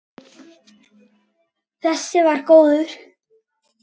Þessi var góður!